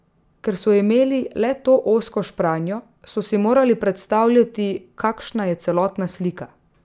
Ker so imeli le to ozko špranjo, so si morali predstavljati, kakšna je celotna slika.